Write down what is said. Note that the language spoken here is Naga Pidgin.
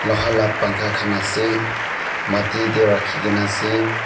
luha pa pankha khan ase mati teh rakhigena ase.